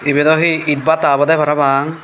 ebe do he eid bata obode parapang.